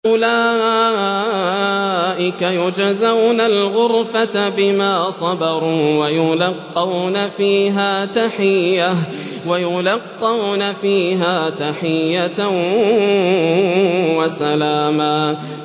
أُولَٰئِكَ يُجْزَوْنَ الْغُرْفَةَ بِمَا صَبَرُوا وَيُلَقَّوْنَ فِيهَا تَحِيَّةً وَسَلَامًا